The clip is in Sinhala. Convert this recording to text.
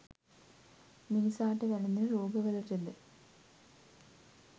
මිනිසාට වැළෙඳන රෝග වලට ද